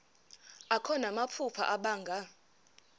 akho namaphupha abanga